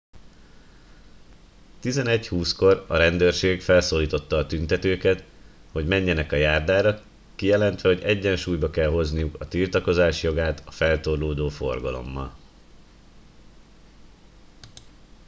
11 20 kor a rendőrség felszólította a tüntetőket hogy menjenek a járdára kijelentve hogy egyensúlyba kell hozniuk a tiltakozás jogát a feltorlódó forgalommal